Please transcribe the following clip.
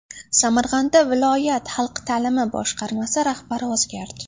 Samarqandda viloyat Xalq ta’limi boshqarmasi rahbari o‘zgardi.